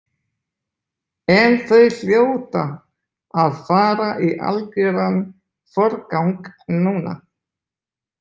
En þau hljóta að fara í algjöran forgang núna.